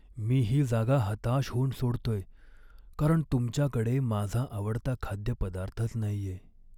मी ही जागा हताश होऊन सोडतोय कारण तुमच्याकडे माझा आवडता खाद्यपदार्थच नाहीये.